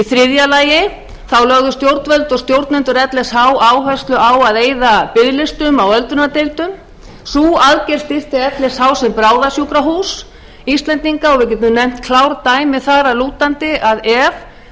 þriðja lagi lögðu stjórnvöld og stjórnendur lsh áherslu á að eyða biðlistum á öldrunardeildum sú aðgerð styrkti lsh sem bráðasjúkrahús íslendinga og við getum nefnt klár dæmi þar að lútandi ef